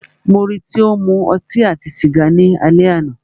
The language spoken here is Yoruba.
Mó rí í tí o ń mú ọtí àti sìgá ni alẹ́ àná.